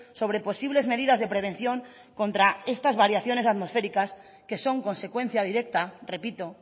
sobre posibles medidas de prevención contra estas variaciones atmosféricas que son consecuencia directa repito